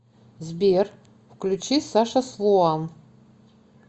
сбер включи саша слоан